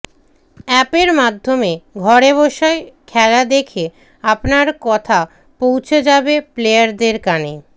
অ্যাপের মাধ্যমে ঘরে বসে খেলা দেখে আপনার কথা পৌছে যাবে প্লেয়ারদের কানে